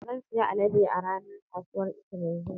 Zan sayi alade a ranar kasuwar Eke mai zuwa.